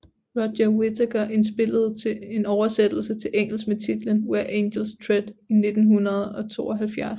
Roger Whittaker indspillede en oversættelse til engelsk med titlen Where Angels Tread i 1972